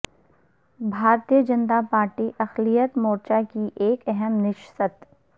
بھارتہ جنتا پارٹی اقلیت مورچہ کی ایک اہم نشست